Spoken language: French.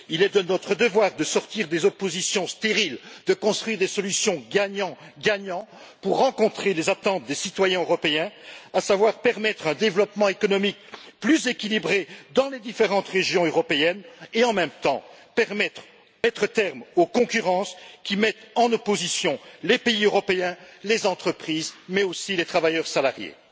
Il est de notre devoir de sortir des oppositions stériles, de construire des solutions gagnant gagnant pour rencontrer les attentes des citoyens européens, à savoir permettre un développement économique plus équilibré dans les différentes régions européennes et, en même temps, mettre un terme aux concurrences qui opposent les pays européens, les entreprises, mais aussi les travailleurs salariés.